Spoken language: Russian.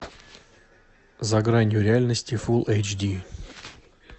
за гранью реальности фул эйч ди